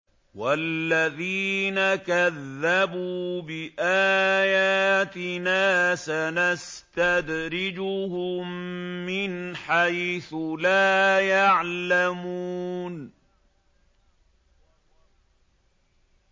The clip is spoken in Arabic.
وَالَّذِينَ كَذَّبُوا بِآيَاتِنَا سَنَسْتَدْرِجُهُم مِّنْ حَيْثُ لَا يَعْلَمُونَ